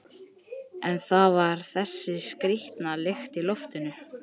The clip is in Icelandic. Einna helst líktist það grófum en mjög léttum sandi.